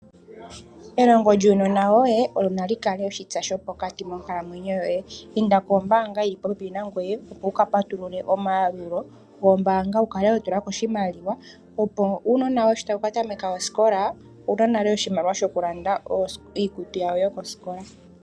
Elongo lyuunona woye olo nali kale oshitsa sho pokati monkalamwenyo yoye, inda pombaanga yi li popepi nangoye opo uka patulule omayalulo gombaanga wu kale ho tula ko oshimaliwa, opo uunona wo ye sho tawu ka tameka osikola owu na nale oshimaliwa shoku landa iikutu ya wo yo kosikola.